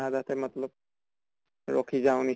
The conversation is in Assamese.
আধাতে hindi ৰাখি যাওঁ ।